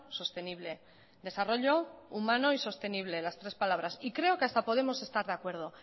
sostenible desarrollo humano y sostenible las tres palabras y creo que hasta podemos estar de acuerdo